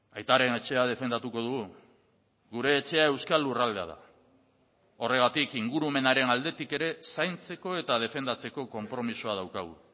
aitaren etxea defendatuko dugu gure etxea euskal lurraldea da horregatik ingurumenaren aldetik ere zaintzeko eta defendatzeko konpromisoa daukagu